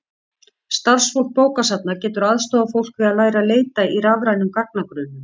starfsfólk bókasafna getur aðstoðað fólk við að læra að leita í rafrænum gagnagrunnum